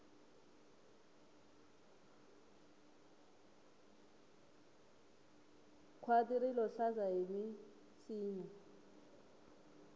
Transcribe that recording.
khwati rilo hlaza hi minsinya